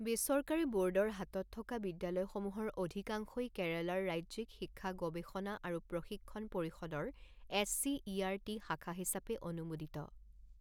বেচৰকাৰী বোৰ্ডৰ হাতত থকা বিদ্যালয়সমূহৰ অধিকাংশই কেৰালাৰ ৰাজ্যিক শিক্ষা গৱেষণা আৰু প্ৰশিক্ষণ পৰিষদৰ S C E R T শাখা হিচাপে অনুমোদিত।